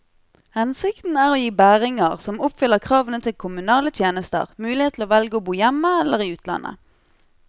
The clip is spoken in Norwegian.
Hensikten er å gi bæringer som oppfyller kravene til kommunale tjenester, mulighet til å velge å bo hjemme eller i utlandet.